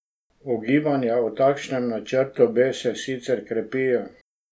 Ugibanja o takšnem načrtu B se sicer krepijo.